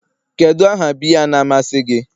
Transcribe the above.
Kedu aha biya na-amasị gi?